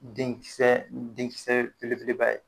Den kisɛ den kisɛ belebeleba ye